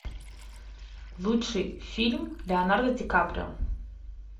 лучший фильм леонардо ди каприо